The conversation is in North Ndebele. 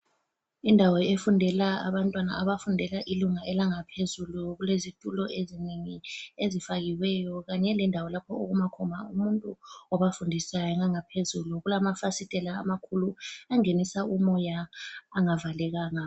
Indawo efundela abantwana abafundela ilunga elangaphezulu kulezitulo ezinengi ezifakiweyo kanye lendawo lapho okuma khona umuntu obafundisayo. Ngangaphezulu kulamafasitela amakhulu angenisa umoya angavalekanga.